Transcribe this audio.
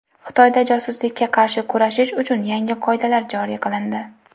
Xitoyda josuslikka qarshi kurashish uchun yangi qoidalar joriy qilindi.